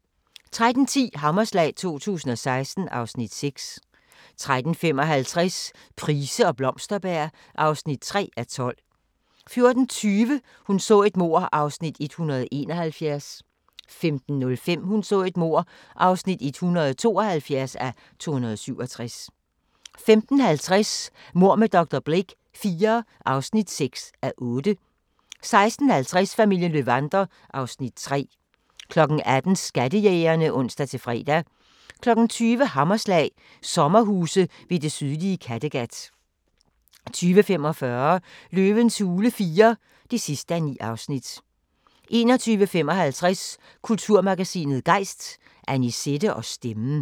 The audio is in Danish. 13:10: Hammerslag 2016 (Afs. 6) 13:55: Price og Blomsterberg (3:12) 14:20: Hun så et mord (171:267) 15:05: Hun så et mord (172:267) 15:50: Mord med dr. Blake IV (6:8) 16:50: Familien Löwander (Afs. 3) 18:00: Skattejægerne (ons-fre) 20:00: Hammerslag – sommerhuse ved det sydlige Kattegat 20:45: Løvens hule IV (9:9) 21:55: Kulturmagasinet Gejst: Annisette og stemmen